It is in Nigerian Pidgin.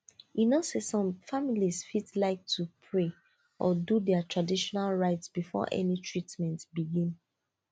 you know say some families fit like to pray or do their traditional rites before any treatment begin